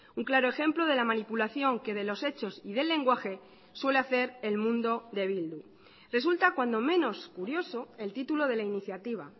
un claro ejemplo de la manipulación que de los hechos y del lenguaje suele hacer el mundo de bildu resulta cuando menos curioso el título de la iniciativa